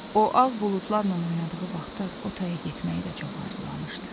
O ağ buludlarla oynadığı vaxtlar o taya getməyi də çox arzulamışdı.